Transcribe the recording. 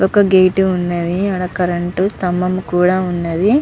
ఒక గేట్ ఉన్నది. ఆడ కరెంట్ స్తంబము కూడా ఉన్నదీ.